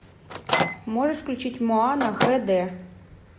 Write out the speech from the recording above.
можешь включить моана хэ дэ